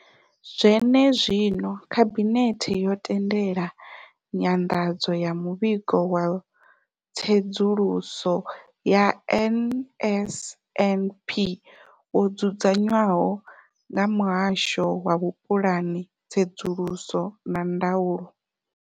Zwenezwino, Khabinethe yo tendela nyanḓadzo ya Muvhigo wa Tsedzuluso ya NSNP wo dzudzanywaho nga Muhasho wa Vhupulani, Tsedzuluso na Ndaulo.